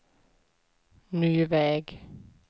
ny väg